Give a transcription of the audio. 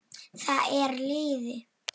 Það er lygi!